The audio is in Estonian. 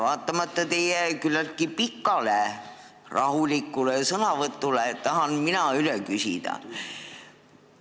Vaatamata teie küllaltki pikale rahulikule sõnavõtule tahan mina üle küsida.